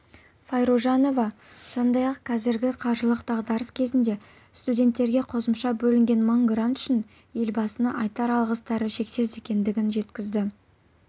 файружанова сондай-ақ қазіргі қаржылық дағдарыс кезінде студенттерге қосымша бөлінген мың грант үшін елбасына айтар алғыстары шексіз екенін жеткізді